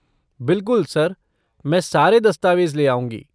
बिलकुल, सर, मैं सारे दस्तावेज ले आऊँगी।